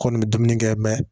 Kɔni bɛ dumuni kɛ